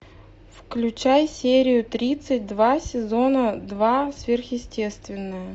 включай серию тридцать два сезона два сверхъестественное